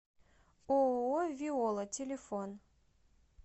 ооо виола телефон